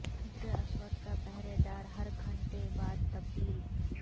حجر اسود کا پہرے دار ہر گھنٹے بعد تبدیل